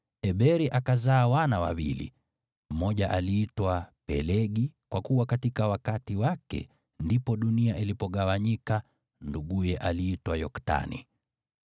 Eberi akapata wana wawili: Mmoja wao aliitwa Pelegi, kwa kuwa wakati wake ndipo dunia iligawanyika; nduguye aliitwa Yoktani.